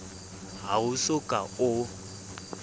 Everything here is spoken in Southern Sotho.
ha o so ka o